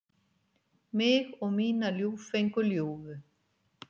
Mig og mína ljúffengu ljúfu.